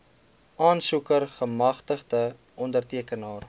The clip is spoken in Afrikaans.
aansoeker gemagtigde ondertekenaar